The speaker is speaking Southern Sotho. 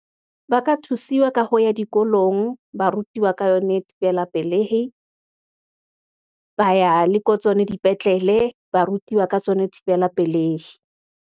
Ba ka thusiwa ka ho ya dikolong, ba rutiwa ka yone thibela pelehi , ba ya le ko tsona dipetlele, ba rutiwa ka tsona thibela pelehi.